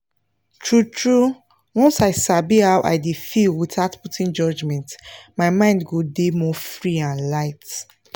true true once i sabi how i dey feel without putting judgment my mind go dey more free and light